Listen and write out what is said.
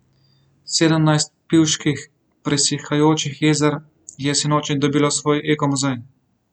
Sedemnajst pivških presihajočih jezer je sinoči dobilo svoj ekomuzej.